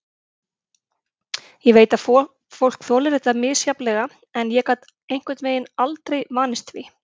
Ég veit að fólk þolir þetta misjafnlega en ég gat einhvern veginn aldrei vanist því.